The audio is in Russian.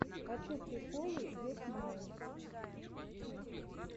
хочу приколы йо смайл